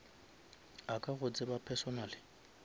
a ka go tsebang personally